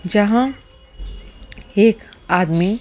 जहां एक आदमी--